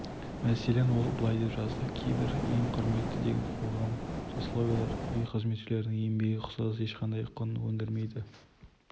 мәселен ол былай деп жазды кейбір ең құрметті деген қоғам сословиялары үй қызметшілерінің еңбегіне ұқсас ешқандай құн өндірмейді